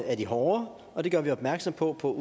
hårdere og det gør vi opmærksom på på